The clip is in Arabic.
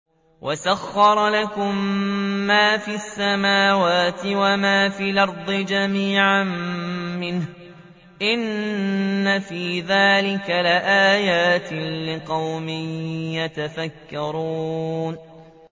وَسَخَّرَ لَكُم مَّا فِي السَّمَاوَاتِ وَمَا فِي الْأَرْضِ جَمِيعًا مِّنْهُ ۚ إِنَّ فِي ذَٰلِكَ لَآيَاتٍ لِّقَوْمٍ يَتَفَكَّرُونَ